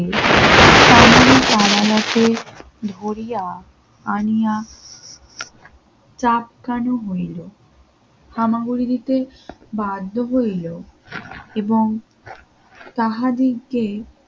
ধরিয়া আনিয়া চাপ কেন হইল আমাগোরে দিতে বাধ্য হইলো এবং তাহাদেরকে